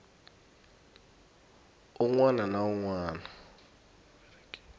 un wana na un wana